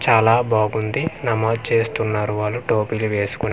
చాలా బాగుంది నమాజ్ చేస్తున్నారు వాళు టోపీలు వేస్కొని .